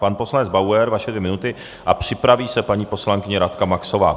Pan poslanec Bauer, vaše dvě minuty a připraví se paní poslankyně Radka Maxová.